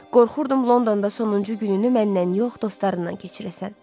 Qorxurdum Londonda sonuncu gününü məndən yox, dostlarından keçirəsən.